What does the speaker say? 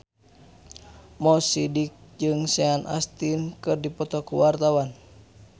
Mo Sidik jeung Sean Astin keur dipoto ku wartawan